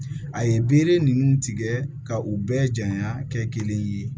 A ye bere ninnu tigɛ ka u bɛɛ janya kɛ kelen ye